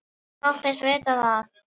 Ég þóttist vita það.